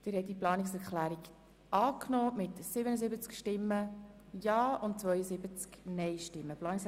Sie haben die Planungserklärung 3 mit 89 Nein gegen 58 Ja-Stimmen und 2 Enthaltungen abgelehnt.